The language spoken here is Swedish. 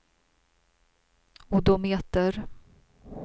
odometer